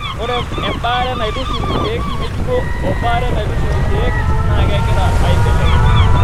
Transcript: Ore embaare naitushul ilkeek ng'ejuko o baare naitushul ilkeek naa kegira aibelekenya.